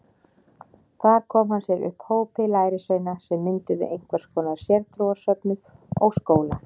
Þar kom hann sér upp hópi lærisveina sem mynduðu einhvers konar sértrúarsöfnuð og skóla.